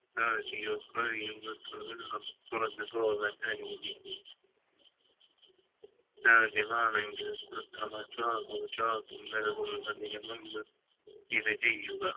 ആക്കിയോ കഴിയുന്നത്ര വെള്ളം പുറത്തെക്ക് പോവാൻ അനുവദിക്കുക മാണെങ്കിൽ കൃത്രിമ ശ്വാസോച്ഛാസം നൽകുന്നതിന് മുമ്പ് ഇത് ചെയ്യുക